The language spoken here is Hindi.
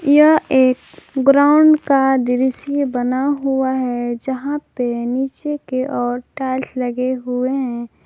यह एक ग्राउंड का दृश्य बना हुआ है यहां पे नीचे के ओर टाइल्स लगे हुए हैं।